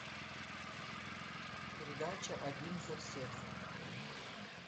передача один за всех